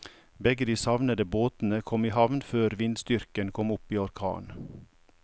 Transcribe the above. Begge de savnede båtene kom i havn før vindstyrken kom opp i orkan.